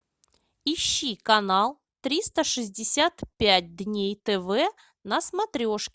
ищи канал триста шестьдесят пять дней тв на смотрешке